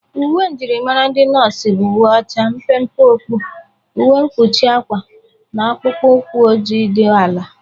Uwe myịrịmara ndị nọs bụ uwe ocha, mpe mpe okpu, uwe mkpuchi akwa na akpụkpo ụkwụ oji dị ala.